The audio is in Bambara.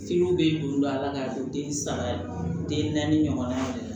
bɛ juru la k'a don den saba den naani ɲɔgɔnna yɛrɛ